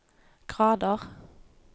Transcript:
grader